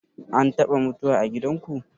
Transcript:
An taɓa mutuwa a gidanku?